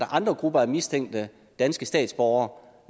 andre grupper af mistænkte danske statsborgere